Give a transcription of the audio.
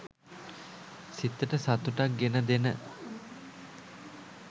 සිතට සතුටක් ගෙන දෙන